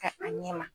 Ka a ɲɛ ma